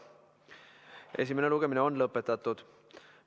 Esimene lugemine on lõpetatud.